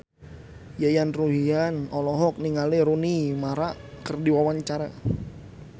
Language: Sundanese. Yayan Ruhlan olohok ningali Rooney Mara keur diwawancara